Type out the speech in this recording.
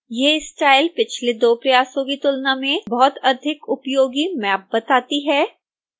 यह स्टाइल पिछले दो प्रयासों की तुलना में बहुत अधिक उपयोगी मैप बताती है